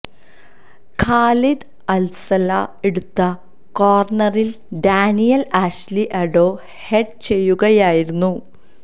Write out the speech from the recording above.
Khalid Alsala എടുത്ത കോര്ണറില് Daniel Ashley Addo head ചെയ്യുകയായിരുന്നു